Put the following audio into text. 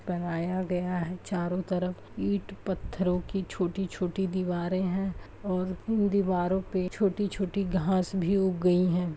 बनाया गया है चारों तरफ ईंट पत्थरों की छोटी-छोटी दीवारें हैं और उन दीवारों पे छोटी-छोटी घास भी उग गई हैं।